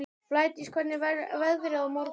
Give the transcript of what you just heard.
Blædís, hvernig verður veðrið á morgun?